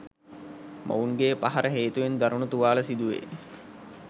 මොවුන්ගේ පහර හේතුවෙන් දරුණු තුවාල සිදුවේ.